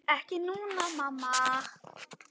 Ekki núna, mamma.